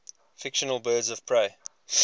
fictional birds of prey